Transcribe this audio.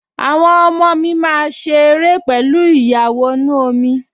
Àwọn ọmọ mi máa ṣe ère pẹ̀lú ìyàwọnú-omi